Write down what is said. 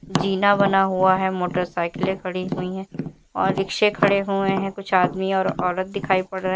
जिना बना हुआ है मोटरसाइकिले खड़ी हुई है और रिक्शे खड़े हुए हैं कुछ आदमी और औरत दिखाई पड़ रहे--